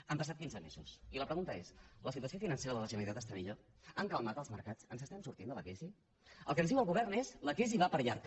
han passat quinze mesos i la pregunta es la situació financera de la generalitat està millor han calmat els mercats ens n’estem sortint de la crisi el que ens diu el govern es la crisi va per llarg